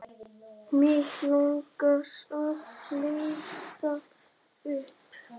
Mig langar að fletta upp.